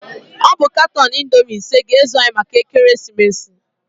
Ọ bụ katọn Indoomi ise ga-ezu anyị maka ekeresimeesi.